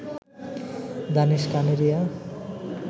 Danish Kaneria